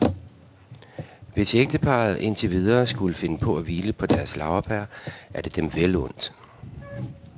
Hvis ægteparret indtil videre skulle finde på at hvile på deres laurbær, er det dem vel undt.